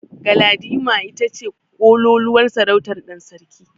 Galadima ita ce ƙololuwar sarautar ɗan sarki.